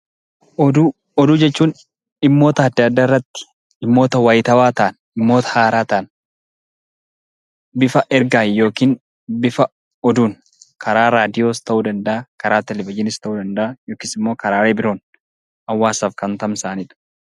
Oduu jechuun dhimmoota adda addaa irratti, dhimmoota wayitaawwaa ta'an, dhiimmoota haaraa ta'an, bifa ergaan yookiin bifa oduun karaa raadiyoos ta'uu danda'a, karaa televithiniis ta'uu danda'a yookiis immoo karaalee biroon hawaasaaf kan tamsa'anidha.